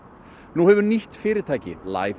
nú hefur fyrirtækið